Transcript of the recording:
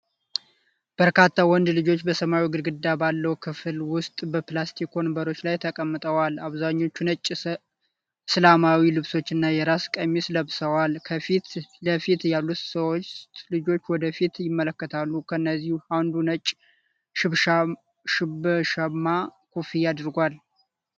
በርካታ ወንድ ልጆች በሰማያዊ ግድግዳ ባለው ክፍል ውስጥ በፕላስቲክ ወንበሮች ላይ ተቀምጠዋል። አብዛኞቹ ነጭ እስላማዊ ልብሶች እና የራስ ቀሚስ ለብሰዋል። ከፊት ለፊት ያሉት ሦስቱ ልጆች ወደ ፊት ይመለከታሉ፤ ከእነዚህም አንዱ ነጭ ሽብሸባማ ኮፍያ አድርጓል።